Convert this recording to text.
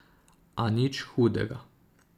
A nič hudega!